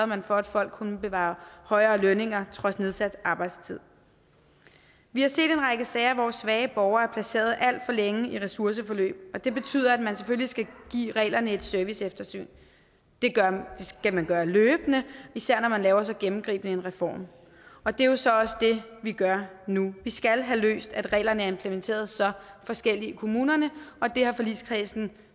man for at folk kunne bevare højere lønninger trods nedsat arbejdstid vi har set en række sager hvor svage borgere er placeret alt for længe i ressourceforløb og det betyder at man selvfølgelig skal give reglerne et serviceeftersyn det skal man gøre løbende især når man laver så gennemgribende en reform og det er så også det vi gør nu vi skal have løst at reglerne er implementeret så forskelligt i kommunerne og det har forligskredsen